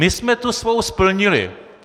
My jsme tu svou splnili!